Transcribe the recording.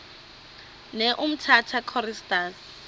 ne umtata choristers